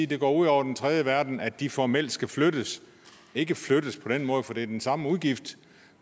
det går ud over den tredje verden at de formelt skal flyttes ikke flyttes på den måde for det er den samme udgift